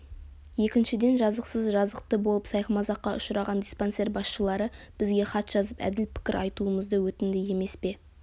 екіншіден жазықсыз жазықты болып сайқымазаққа ұшыраған диспансер басшылары бізге хат жазып әділ пікір айтуымызды өтінді емес пе